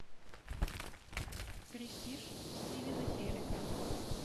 престиж стивена херека